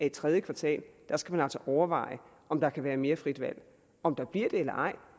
i tredje kvartal skal overveje om der kan være mere frit valg om der bliver det eller ej